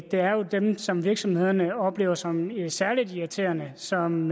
er jo dem som virksomhederne oplever som særlig irriterende som